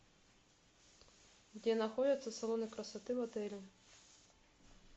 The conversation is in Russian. где находятся салоны красоты в отеле